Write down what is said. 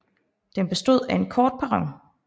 Den bestod af en kort perron